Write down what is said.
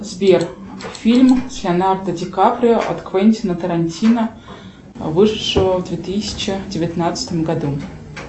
сбер фильм с леонардо ди каприо от квентина тарантино вышедшего в две тысячи девятнадцатом году